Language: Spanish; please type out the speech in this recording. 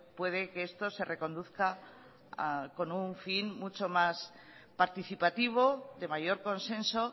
puede que esto se reconduzca con un fin mucho más participativo de mayor consenso